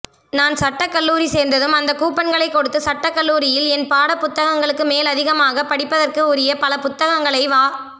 நான் சட்டக்கல்லூரிசேர்ந்ததும் அந்தக் கூப்பன்களைக் கொடுத்துசட்டக்கல்லூரியில் என் பாடப் புத்தகங்களுக்குமேலதிகமாகப் படிப்பதற்குஉரியபலபுத்தகங்களைவா